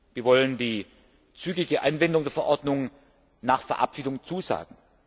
Wir wollen die zügige Anwendung der Verordnung nach Verabschiedung zusagen.